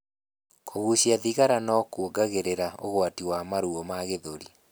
Kugucia thigara kuongagirira ugwati wa maruo ma gĩthũri